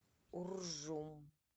уржум